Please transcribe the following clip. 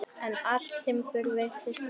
En allt timbur virtist heilt.